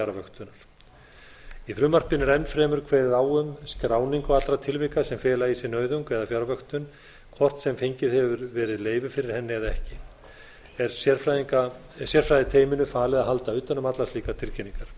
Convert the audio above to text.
og fjarvöktun í frumvarpinu er enn fremur kveðið á um skráningu allra tilvika sem fela í sér nauðung eða fjarvöktun hvort sem fengið hefur verið leyfi fyrir henni eða ekki er sérfræðiteyminu falið að halda utan um allar slíkar tilkynningar hæstvirtur